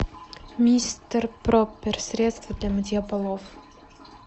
мистер проппер средство для мытья полов